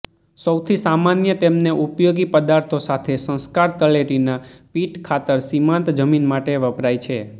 સૌથી સામાન્ય તેમને ઉપયોગી પદાર્થો સાથે સંસ્કાર તળેટીના પીટ ખાતર સીમાંત જમીન માટે વપરાય છે